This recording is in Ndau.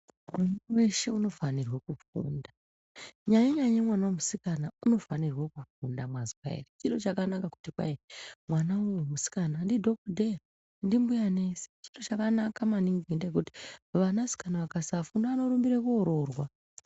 Muntu weshe unofanirwa kufunda kunyanyanya mwana wemusikana unofanirwa kufunda mwazwa ere. Chiro chakanaka maningi kuti mwana uyu musikana ndidhokodheya ndimbuya nesi chiro chakanaka maningi ngendaa yokuti vanasikana vakasafunda vanorumbira koororwa.